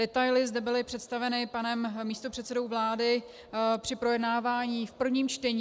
Detaily zde byly představeny panem místopředsedou vlády při projednávání v prvním čtení.